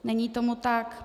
Není tomu tak.